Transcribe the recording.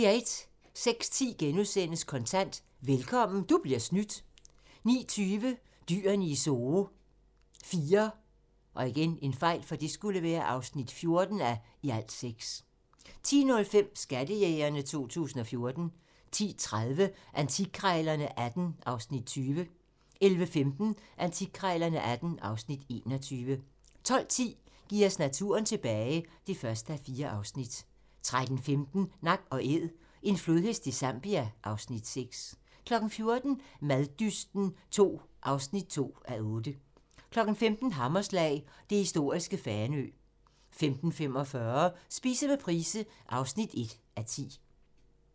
06:10: Kontant: Velkommen - du bliver snydt * 09:20: Dyrene i Zoo IV (14:6) 10:05: Skattejægerne 2014 10:30: Antikkrejlerne XVIII (Afs. 20) 11:15: Antikkrejlerne XVIII (Afs. 21) 12:10: Giv os naturen tilbage (1:4) 13:15: Nak & Æd - en flodhest i Zambia (Afs. 6) 14:00: Maddysten II (2:8) 15:00: Hammerslag - det historiske Fanø 15:45: Spise med Price (1:10)